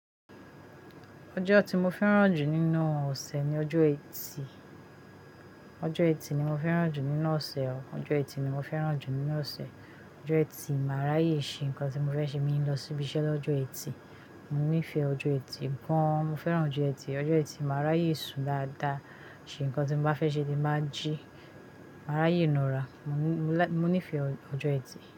Ọjọ́ tí mo fẹ́ràn jù nínú ọ̀sẹ̀ ni ọjọ́ ẹtì. Ọjọ́ ẹtì ni mo fẹ́ràn jù nínú ọ̀sẹ̀ o. Ọjọ́ ẹtì ni mo fẹ́ràn jù nínú ọ̀sẹ̀. Ọjọ́ ẹtì, màá ráyè ṣe nǹkan tí mo fẹ́ ṣe, mo ní lọ síbi iṣẹ́ lọ́jọ́ ẹtì. Mo nífẹ̀ẹ́ ọjọ́ ẹtì gan-an. Mo fẹ́ràn ọjọ́ ẹtì. Ọjọ́ ẹtì, màá ráyè sùn dáadáa, ṣe nǹkan tí mo bá fẹ́ ṣe tí ẹ báa jí, màá ráyè na ara. Mo ní- mo lá- mo nífẹ̀ẹ́ ọjọ́ ẹtì.